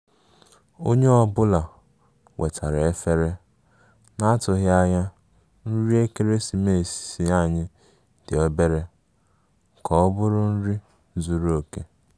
Onye ọ bụla wetara efere, na-atụgharị nri ekeresimesi anyị dị obere ka ọ bụrụ oriri zuru oke